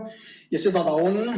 Ja seda ta on.